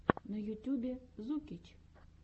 на ютюбе зукич